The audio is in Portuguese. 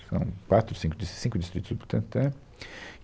São quatro, cinco dis, cinco distritos do Butantã.